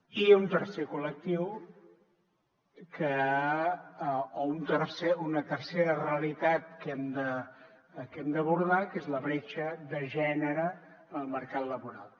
i un tercer col·lectiu o una tercera realitat que hem de abordar que és la bretxa de gènere en el mercat laboral